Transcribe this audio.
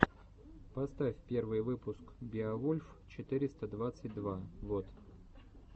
поставь первый выпуск беовульф четыреста двадцать два вот